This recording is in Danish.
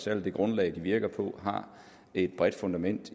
særlig det grundlag de virker på har et bredt fundament